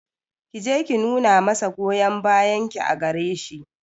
Ki je ki nuna masa goyon bayan ki a gare shi